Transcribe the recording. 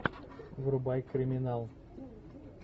врубай криминал